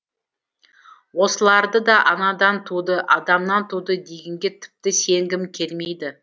осыларды да анадан туды адамнан туды дегенге тіпті сенгім келмейді